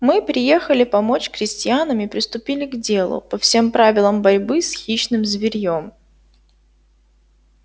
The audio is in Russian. мы приехали помочь крестьянам и приступили к делу по всем правилам борьбы с хищным зверьём